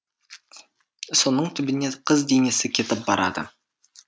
соның түбіне қыз денесі кетіп барады